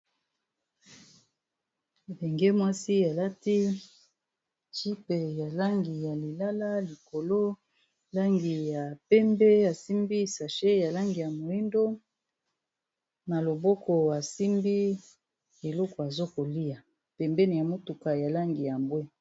Elenge mwasi alati jupe ya langi ya lilala likolo langi ya pembe asimbi sache ya langi ya moyindo na loboko asimbi eloko azo kolia pembeni ya motuka ya langi ya mbwe.